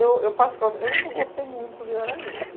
Olha, eu particularmente, eu nunca gostei muito de Garanhuns.